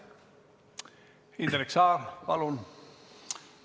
Indrek Saar, palun!